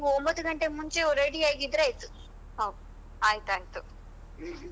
ನೀವು ಒಂಬತ್ತು ಗಂಟೆ ಮುಂಚೆವೆ ready ಆದ್ರೆ ಆಯ್ತು.